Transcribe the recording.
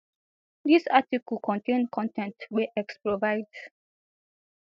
dis article contain con ten t wey x provide